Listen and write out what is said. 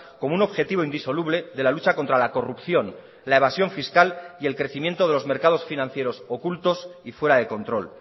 como un objetivo indisoluble de la lucha contra la corrupción la evasión fiscal y el crecimiento de los mercados financieros ocultos y fuera de control